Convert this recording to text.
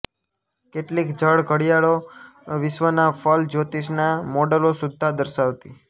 કેટલીક જળ ઘડિયાળો વિશ્વના ફલજ્યોતિષનાં મૉડલો સુદ્ધાં દર્શાવતી